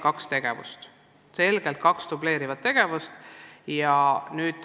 Seega selgelt kaks dubleerivat tegevust.